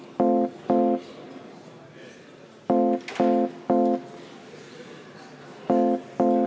Kohtume homme infotunnis.